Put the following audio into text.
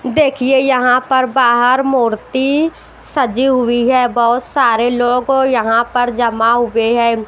देखिए यहाँ पर बाहर मूर्ति सजी हुई है बहुत सारे लोग यहाँ पर जमा हुए हैं।